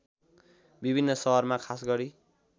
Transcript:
विभिन्न सहरमा खासगरी